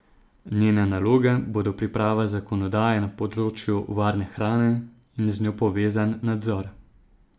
Njene naloge bodo priprava zakonodaje na področju varne hrane in z njo povezan nadzor.